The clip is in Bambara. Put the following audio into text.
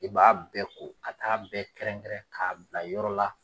I b'a bɛɛ ko ka taa bɛɛ kɛrɛn kɛrɛn k'a bila yɔrɔ la.